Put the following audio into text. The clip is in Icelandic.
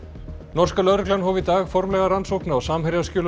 norska lögreglan hóf í dag formlega rannsókn á